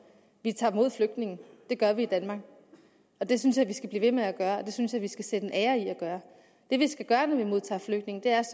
vi tager imod flygtninge det gør vi i danmark og det synes jeg vi skal blive ved med at gøre og det synes jeg vi skal sætte en ære i at gøre det vi skal gøre når vi modtager flygtninge er